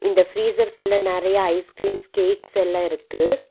இந்த ஃபிரீஸர்குள்ள நெறைய ஐஸ் கிரீம்ஸ் கேக்ஸ் எல்லா இருக்கு.